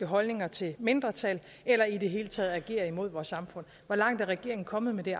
holdninger til mindretal eller i det hele taget at agere imod vores samfund hvor langt er regeringen kommet med